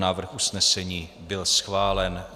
Návrh usnesení byl schválen.